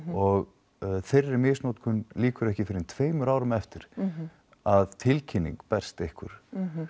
og þeirri misnotkun lýkur ekki fyrr en tveimur árum eftir að tilkynning berst ykkur